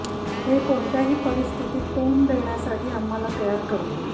हे कोणत्याही परिस्थितीत तोंड देण्यासाठी आम्हाला तयार करते